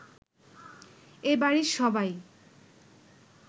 এ বাড়ির সবাই